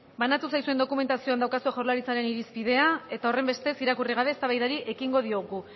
banatu zaizuen dokumentazioan daukazue jaurlaritzaren irizpidea eta horrenbestez irakurri gabe eztabaidari ekingo diogu